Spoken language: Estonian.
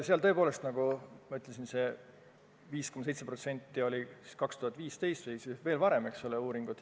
Tõepoolest, nagu ma ütlesin, me olime ära andnud 5,7% oma tööjõust, oli see siis aastal 2015 või veel varem.